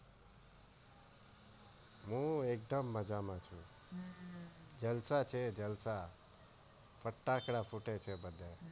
હું એકદમ મજ્જા માં છુ જલસા છે જલસા ફટાકડા ફૂટે છે બધા